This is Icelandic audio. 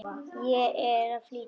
Ég er að flýta mér!